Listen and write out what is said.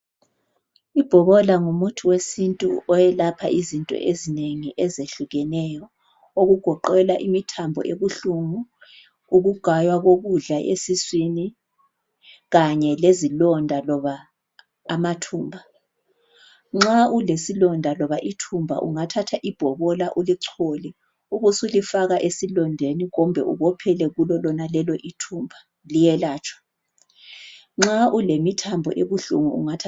ibhobola ngumuthi wesintu oyelapha izinto ezinengi ezehlukeneyo okugoqela imithambo ebuhlungu ukugaywa kokudla esiswini kanye lezilonda loba amathumba nxa ulesilonda loba ithumba ungathatha ibhobola ulichole ubusulifaka esilondeni kumbe ubophele kulo lonaleli ithumba liyelatshwa nxa ulemithambo ebuhlungu ungathatha